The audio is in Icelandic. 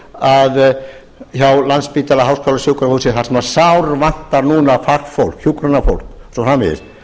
til dæmis hjá landspítala háskólasjúkrahúsi þar sem sárvantar núna fagfólk hjúkrunarfólk og svo framvegis